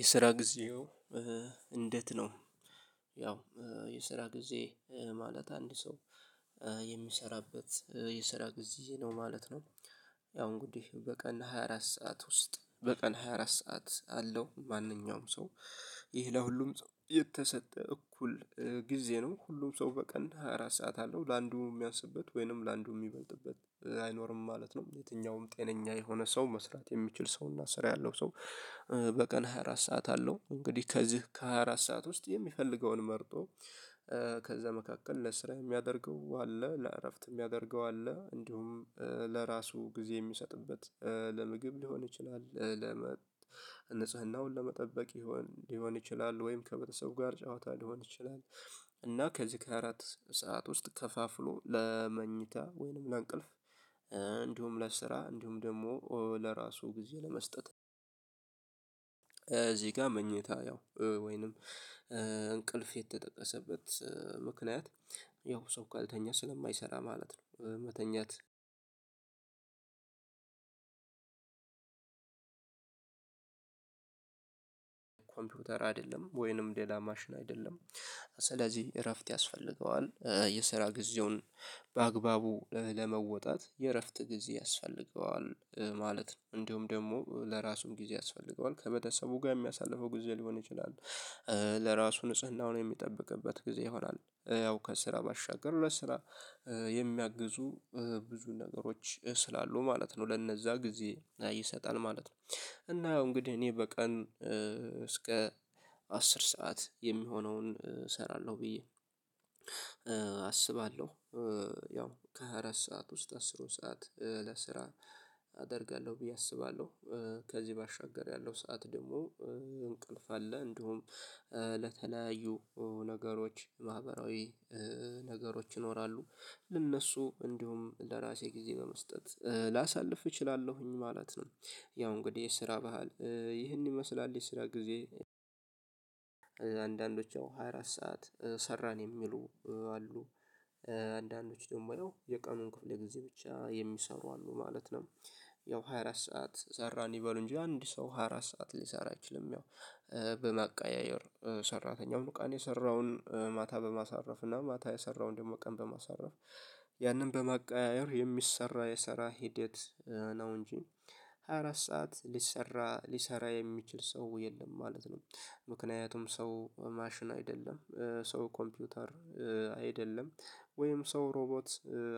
የስራ ጊዜው እንዴት ነው? ያው የስራ ጊዜ ማለት አንድ ሰው የሚሰራበት የስራ ጊዜ ነው ማለት ነው። ያው እንግዲህ በቀን ሃያ አራት ሰዓት ውስጥ በቀን ሃያ አራት ሰዓት አለው ማንኛውም ሰው ይህ ለሁሉም የተሰጠ እኩል ጊዜ ነው ሁሉም ሰው በቀን ሃያ አራት ሰዓት አለው ለአንዱ የሚያስብበት ወይንም ላንዱ የሚበልጥበት አይኖርም ማለት ነው። የትኛውም ጤነኛ የሆነ ሰው መስራት የሚችል ሰውና ስራ ያለው ሰው። በቀን ሃያ አራት ሰዓት አለው እንግዲህ ከዚህ ከሃያ አራት ሰዓት ውስጥ የሚፈልገውን መርጦ ከዛ መካከል ለስራ የሚያደርገው አለ ለእረፍት የሚያደርገው አለ እንዲሁም ለራሱ ጊዜ የሚሰጥበት ለምግብ ሊሆን ይችላል ለንጽህናውን ለመጠበቅ ይሆን ሊሆን ይችላል ወይም ከመተሰብ ጋር ጨዋታ ሊሆን ይችላል። እና ከዚህ ከ ሃያ አራት ሰዓት ውስጥ ከፋፍሎ ለመኝታ ወይንም ለአንቀልፍ እንዲሁም ለስራ እንዲሁም ደግሞ ለራሱ ጊዜ ለመስጠት። እዚህ ጋር መኝታ ያው ወይንም እንቅልፍ የተጠቀሰበት ያው ሰው ካልተኛ ስለማይሰራ ማለት ነው። መተኛት ኮምፒውተር አይደለም ወይንም ሌላ ማሽን አይደለም። ስለዚህ እረፍት ያስፈልገዋል የስራ ጊዜውን በአግባቡ ለመወጣት የእረፍት ጊዜ ያስፈልገዋል ማለት ነው። እንደውም ደግሞ ለራሱም ጊዜ ያስፈልገዋል ከበተሰቡ ጋር የሚያሳልፈው ጊዜ ሊሆን ይችላል። ለራሱ ንጽህናውን የሚጠብቅበት ጊዜ ይሆናል ያው ከስራ ባሻገር ሁለት ስራ የሚያግዙ ብዙ ነገሮች ስላሉ ማለት ነው። ለነዛ ጊዜ ይሰጣል ማለት ነው። እና አሁን እንግዲህ እኔ በቀን እስከ አስር ሰዓት የሚሆነውን እሰራለሁ ብዬ አስባለሁ። ያው ከሃያ አራት ሰዓት ውስጥ አስሩን ሰዓት ለስራ አደርጋለሁ ብዬ አስባለሁ። ከዚህ ባሻገር ያለው ሰዓት ደግሞ እንቅልፍ አለ እንደውም ለተለያዩ ነገሮች ማህበራዊ ነገሮች ይኖራሉ። ለእነሱ እንዲሁም ለራሴ ጊዜ በመስጠት ላሳልፍ እችላለሁኝ ማለት ነው። ያው እንግዲህ የስራ ባህል ይህን ይመስላል። የስራ ጊዜ አንዳንዶች ሃያ አራት ሰዓት ሰራን የሚሉ አሉ አንዳንዶች ደግሞ የቀኑን ክፍል የጊዜ ብቻ የሚሰሩ አሉ ማለት ነው። ያው ሃያ አራት ሰዓት ሰራን ይበሉ እንጂ አንድ ሰው ሃያ አራት ሰዓት ሊሰራ አይችልም። ያው በማቀያየር ሰራተኛው ቀን የሰራውን ማታ በማሳረፍ እና ማታ የሰራውን ደግሞ ቀን በማሳረፍ ያንን በማቀያየር የሚሰራ የሰራ ሂደት ነው። እንጂ ሃያ አራት ሰዓት ሊሰራ ሊሰራ የሚችል ሰው የለም ማለት ነው። ምክንያቱም ሰው ማሽን አይደለም ሰው ኮምፒውተር አይደለም። ወይም ሰው ሮቦት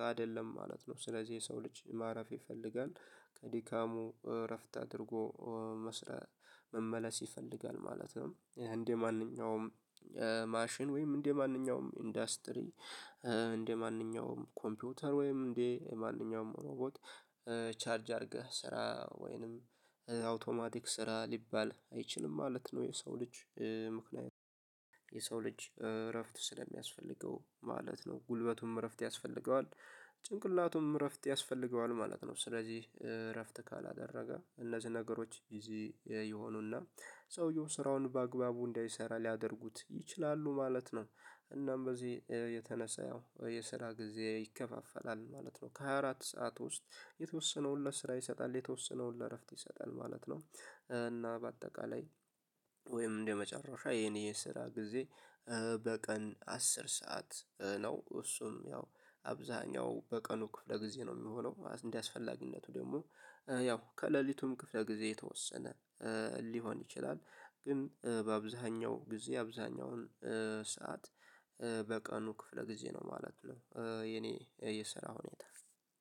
አይደለም ማለት ነው። ስለዚህ የሰው ልጅ ማረፍ ይፈልጋል ከድካሙ እረፍት አድርጎ መስራት መመለስ ይፈልጋል ማለት ነው። እንደማንኛውም ማሽን ወይም እንደማንኛውም ኢንዱስትሪ እንደማንኛውም ኮምፒውተር ወይም እንደየማንኛውም ሮቦት ቻርጅ አድርገህ ስራ ወይንም አውቶማቲክ ስራ ሊባል አይችልም ማለት ነው። የሰው ልጅ ምክንያቱም ልጅ እረፍት ስለሚያስፈልገው ማለት ነው ጉልበቱም እረፍት ያስፈልገዋል። ጭንቅላቱም እረፍት ያስፈልገዋል ማለት ነው። ስለዚህ እረፍት ካላደረገ እነዚህ ነገሮች ጊዜ የሆኑና ሰውየው ስራውን በአግባቡ እንዳይሰራ ሊያደርጉት ይችላሉ ማለት ነው። እናም በዚህ የተነሳ ያው የስራ ጊዜ ይከፋፈላል ማለት ነው። ከሃያ አራት ሰዓት ውስጥ የተወሰነውን ለስራ ይሰጣል የተወሰነውን ለእረፍት ይሰጣል ማለት ነው። እና በአጠቃላይ ወይም እንደ መጨረሻ የኔ ስራ ጊዜ በቀን አስር ሰዓት ነው። እሱም ያው አብዛኛው በቀኑ ክፍለ ጊዜ ነው የሚሆነው እንደዚህ አስፈላጊነቱ ደግሞ ያው ከሌሊቱም ክፍለ ጊዜ የተወሰነ ሊሆን ይችላል። ግን በአብዛኛው ጊዜ አብዛኛውን ሰዓት በቀኑ ክፍለ ጊዜ ነው ማለት ነው። የኔ የስራው ሁኔታ